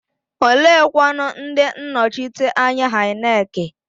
Oleekwanụ ndị nnọchiteanya INEC?